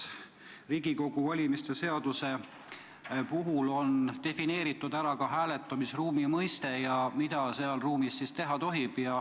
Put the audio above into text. Riigikogu valimise seaduses on defineeritud hääletamisruumi mõiste ja see, mida seal ruumis teha tohib.